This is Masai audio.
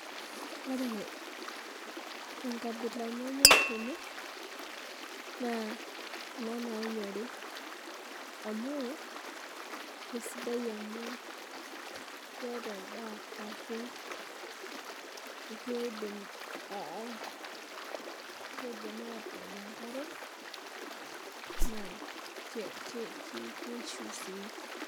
Ore enkabila nanyor tene, naa kuna nanyori amu, kesidai amu keeta endaa asu keidim, keidim atook enkare, na kishu si.